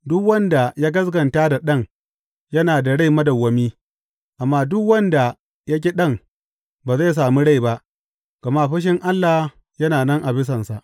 Duk wanda ya gaskata da Ɗan yana da rai madawwami, amma duk wanda ya ƙi Ɗan ba zai sami rai ba, gama fushin Allah yana nan a bisansa.